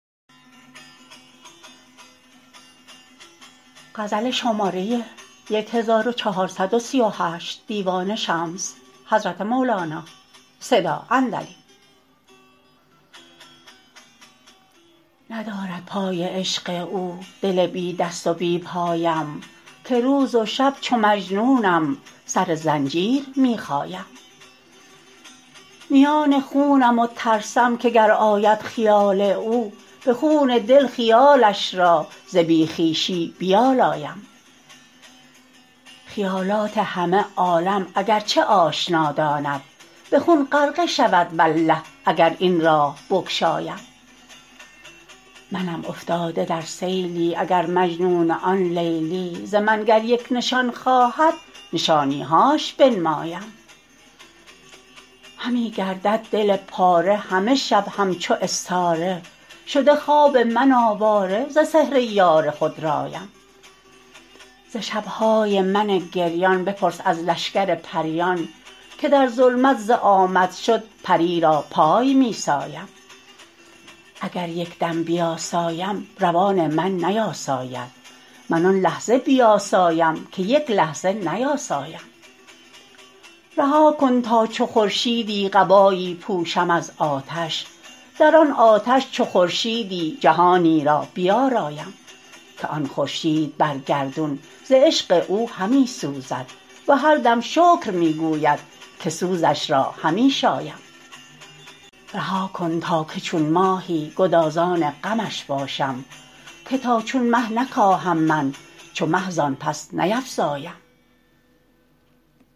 ندارد پای عشق او دل بی دست و بی پایم که روز و شب چو مجنونم سر زنجیر می خایم میان خونم و ترسم که گر آید خیال او به خون دل خیالش را ز بی خویشی بیالایم خیالات همه عالم اگر چه آشنا داند به خون غرقه شود والله اگر این راه بگشایم منم افتاده در سیلی اگر مجنون آن لیلی ز من گر یک نشان خواهد نشانی هاش بنمایم همه گردد دل پاره همه شب همچو استاره شده خواب من آواره ز سحر یار خودرایم ز شب های من گریان بپرس از لشکر پریان که در ظلمت ز آمدشد پری را پای می سایم اگر یک دم بیاسایم روان من نیاساید من آن لحظه بیاسایم که یک لحظه نیاسایم رها کن تا چو خورشیدی قبایی پوشم از آتش در آن آتش چو خورشیدی جهانی را بیارایم که آن خورشید بر گردون ز عشق او همی سوزد و هر دم شکر می گوید که سوزش را همی شایم رها کن تا که چون ماهی گدازان غمش باشم که تا چون مه نکاهم من چو مه زان پس نیفزایم